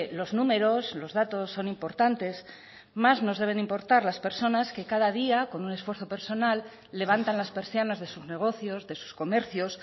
los números los datos son importantes más nos deben importar las personas que cada día con un esfuerzo personal levantan las persianas de sus negocios de sus comercios